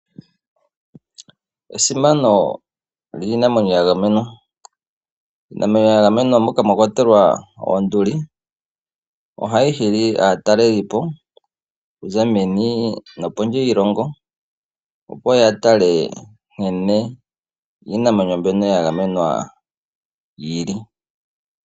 Esimano liinamwenyo ya gamenwa. Iinamwenyo ya gamenwa moka mwa kwatelwa oonduli, ohayi hili aatalelipo okuza meni nopondje yiilongo. Opo ya tale nkene iinamwenyo mbyono ya gamenwa yi li.